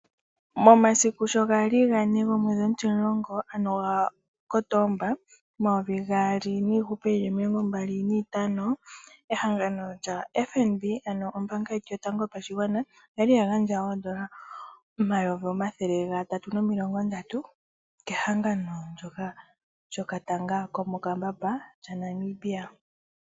Momasiku sho gali gane ga Kotomba omayovi gaali niihupe yili omilongo mbali niitano, ehangano lya FNB, ano ombaanga yetu yotango yopashigwana, oyali ya gandja oondola omayovi omathele gatatu nomilongo ndatu kehangano lyo katanga ko mokambamba lya Namibia.